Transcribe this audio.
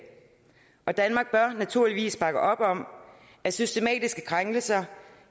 danmark bør naturligvis bakke op om at systematiske krænkelser